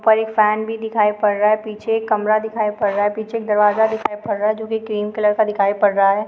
ऊपर एक फैन भी दिखाई पड़ रहा है पीछे एक कमरा दिखाई पड़ रहा है पीछे एक दरवाज़ा दिखाई पड़ रहा है जो कि क्रीम कलर का दिखाई पड़ रहा है।